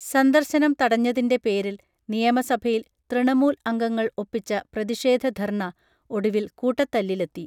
സന്ദർശനം തടഞ്ഞതിൻറെ പേരിൽ നിയമസഭയിൽ തൃണമൂൽ അംഗങ്ങൾ ഒപ്പിച്ച പ്രതിഷേധ ധർണ ഒടുവിൽ കൂട്ടത്തല്ലിലെത്തി